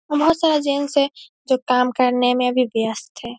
वहाँ बोहत सारा जैंट्स हैं जो काम करने मे अभी व्यस्त है ।